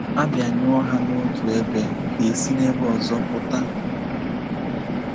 A bịanyụọ ha n’otu ebe, ha esi n’ebe ọzọ pụta.